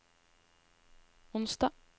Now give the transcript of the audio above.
onsdag